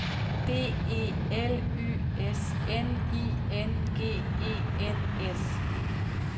B E L Y S N I N G E N S